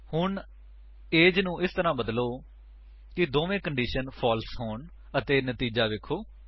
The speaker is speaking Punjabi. ਹੁਣ ਉਮਰ ਨੂੰ ਇਸ ਤਰ੍ਹਾਂ ਬਦਲੋ ਕਿ ਦੋਨਾਂ ਕੰਡੀਸ਼ੰਸ ਫਾਲਸ ਹੋਣ ਅਤੇ ਨਤੀਜਾ ਵੇਖੋ